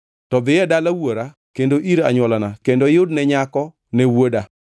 to dhi e dala wuora kendo ir anywolana kendo iyudne nyako ne wuoda.’